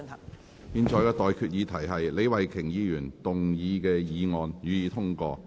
我現在向各位提出的待議議題是：李慧琼議員動議的議案，予以通過。